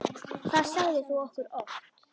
Það sagðir þú okkur oft.